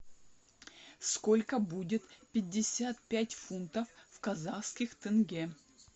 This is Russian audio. сколько будет пятьдесят пять фунтов в казахских тенге